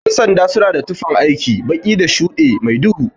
Ƴan sanda suna da tufan aiki, baki da shuɗe mai duhu.